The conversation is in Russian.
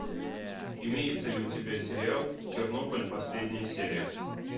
имеется ли у тебя сериал чернобыль последняя серия